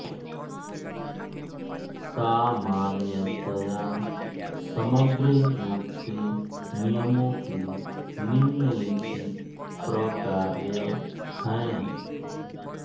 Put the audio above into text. सामान्यतया समग्र रूप से नियमों के निम्नलिखित प्रकार्य हैं